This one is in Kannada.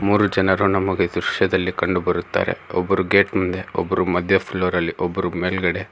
ಮೂರು ಜನರು ನಮಗೆ ದೃಶ್ಯದಲ್ಲಿ ಕಂಡುಬರುತ್ತೆ ಒಬ್ಬರು ಗೇಟ್ ಮುಂದೆ ಒಬ್ರು ಮಧ್ಯ ಫ್ಲೋರ್ ಅಲ್ಲಿ ಒಬ್ಬರು ಮೇಲ್ಗಡೆ.